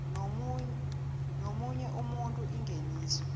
nomunye umuntu ingeniso